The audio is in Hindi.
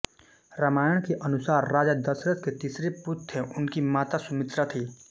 रामायण के अनुसार राजा दशरथ के तीसरे पुत्र थे उनकी माता सुमित्रा थी